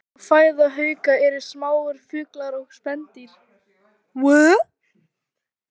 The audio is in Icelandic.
Helsta fæða hauka eru smáir fuglar og spendýr.